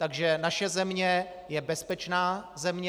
Takže naše země je bezpečná země.